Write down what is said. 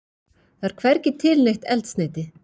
Það er hvergi til neitt eldsneyti